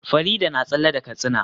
Farida na tsalle da katsina